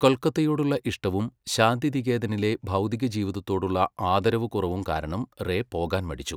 കൊൽക്കത്തയോടുള്ള ഇഷ്ടവും ശാന്തിനികേതനിലെ ബൗദ്ധിക ജീവിതത്തോടുള്ള ആദരവുകുറവും കാരണം റേ പോകാൻ മടിച്ചു.